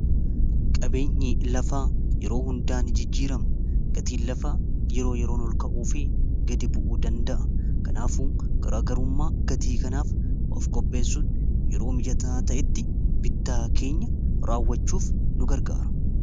Qabeenyi lafaa yeroo hundaa ni jijjiirama. Gatiin lafaa yeroo yeroon ol ka'uu fi gadi bu'uu danda'a. Kanaafuu garaagarummaa gatii kanaaf of qopheessun yeroo mijataa ta'etti bittaa keenya raawwachuuf nu gargaara.